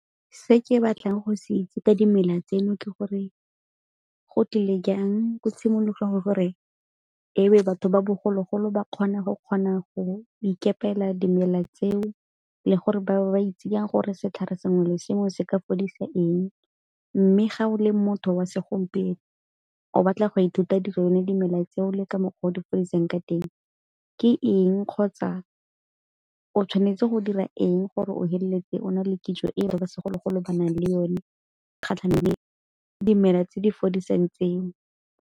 Se ke batlang go se itse ka dimela tseno ke gore go tlile jang ko tshimologong gore ebe batho ba bogologolo ba kgone go kgona go ikepela dimela tseo, le gore ba bo ba itsing gore setlhare sengwe le sengwe se ka fodisa eng. Mme ga o le motho wa segompieno o batla go ithuta di yone dimela tseo le ka mokgwa o di fodiseng ka teng. Ke eng kgotsa o tshwanetse go dira eng gore o feleletse o na le kitso e ba segologolo ba nang le yone kgatlhang le dimela tse di fodisang tseo?